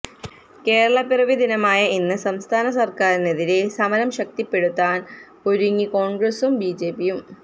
കേരളപ്പിറവി ദിനമായ ഇന്ന് സംസ്ഥാനസര്ക്കാരിനെതിരെ സമരം ശക്തിപ്പെടുത്താന് ഒരുങ്ങി കോണ്ഗ്രസും ബിജെപിയും